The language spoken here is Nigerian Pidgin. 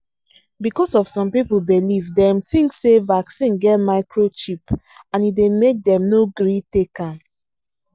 because of some people belief dem think say vaccine get microchip and e dey make dem no gree take am.